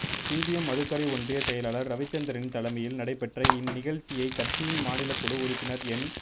CPM Madukkarai ஒன்றிய செயலாளர் ரவிச்சந்திரன் தலைமையில் நடைபெற்ற இந்நி கழ்ச்சியை கட்சியின் மாநிலக்குழு உறுப்பினர் என்